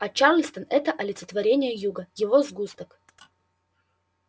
а чарльстон это олицетворение юга его сгусток